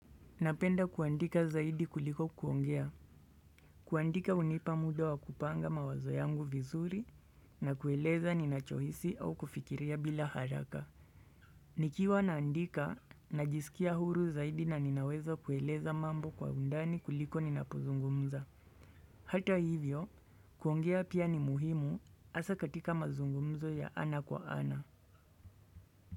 Napenda kuandika zaidi kuliko kuongea. Kuandika hunipa muda wa kupanga mawazo yangu vizuri na kueleza ninachohisi au kufikiria bila haraka. Nikiwa naandika, najisikia huru zaidi na ninaweza kueleza mambo kwa undani kuliko ninapozungumza. Hata hivyo, kuongea pia ni muhimu asa katika mazungumzo ya ana kwa ana.